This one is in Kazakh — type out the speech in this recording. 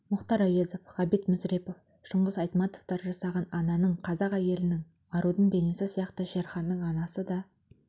мұхтар әуезов ғабит мүсірепов шыңғыс айтматовтар жасаған ананың қазақ әйелінің арудың бейнесі сияқты шерханның анасы да